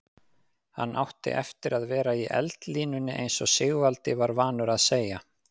Hann átti eftir að vera í eldlínunni eins og Sigvaldi var vanur að segja.